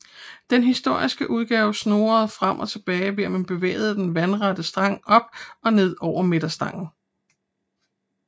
Den historiske udgave snurrer frem og tilbage ved at man bevæger den vandrette stang op og ned over midterstangen